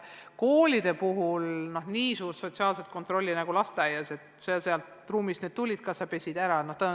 Koolide puhul nii suurt sotsiaalset kontrolli nagu lasteaias – kui sa tulid sealt ruumist, siis kas sa pesid käed ära?